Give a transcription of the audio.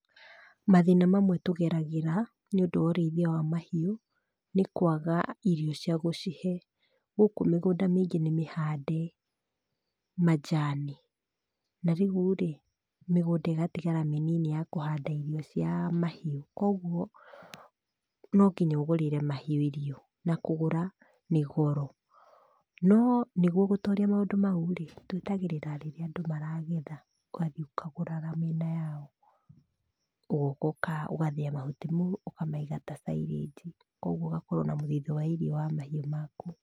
Mathĩna mamwe tũgeragĩra, nĩũndũ wa ũrĩithia wa mahiũ, nĩ kwaga irio cia gũcihe. Gũkũ mĩgũnda mĩingĩ nĩmĩhande, majani, narĩu-rĩ, mĩgũnda ĩgatigara mĩnini ya kũhanda irio cia mahiũ, kuoguo, no nginya ũgũrĩre mahiũ irio, na kũgũra, nĩ goro. No nĩguo gũtoria maũndũ mau-rĩ, twetagĩrĩra rĩrĩa andũ maragetha, ũgathiĩ ũkagũra na mĩena yao, ũgoka ũgathĩa mahuti mau, ũkamaiga ta silage i. Kuoguo ũgakorwo na mũthithũ wa irio wa mahiũ maku.